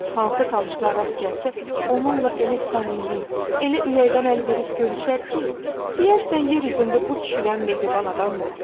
Hansı tanışına rast gəlsə, onunla elə səmimi, elə ürəkdən əl verib görüşər ki, deyərsən yer üzündə bu kişidən mehriban adam yoxdur.